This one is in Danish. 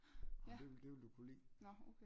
Det ville du kunne lide